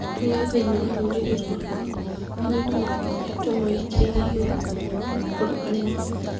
Ũndũ ũyũ thĩinĩ wa rũrĩrĩ rwakwa, arĩmi matikoretwo mawĩkĩrĩire igũrũ, nĩgũkorwo arĩmi,